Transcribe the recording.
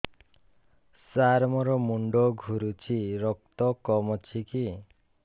ସାର ମୋର ମୁଣ୍ଡ ଘୁରୁଛି ରକ୍ତ କମ ଅଛି କି